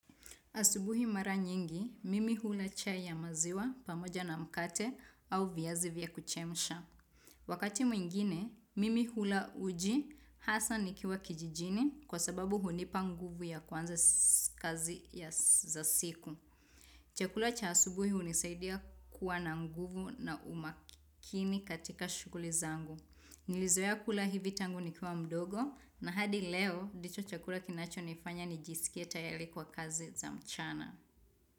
Asubuhi mara nyingi, mimi hula chai ya maziwa pamoja na mkate au viazi vya kuchemsha. Wakati mwingine, mimi hula uji hasa nikiwa kijijini kwa sababu hunipa nguvu ya kuanza kazi za siku. Chakula cha asubuhi hunisaidia kuwa na nguvu na umakini katika shughuli zangu. Nilizoea kula hivi tangu nikiwa mdogo na hadi leo ndicho chakula kinachonifanya nijisikie tayari kwa kazi za mchana.